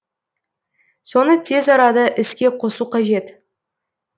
соны тез арада іске қосу қажет